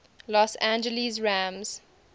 los angeles rams